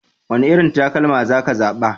Wane irin takalma za ka zaɓa?